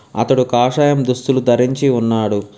అతడు కాషాయం దుస్తులు ధరించి ఉన్నాడు.